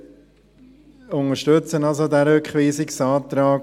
Wir unterstützen also diesen Rückweisungsantrag.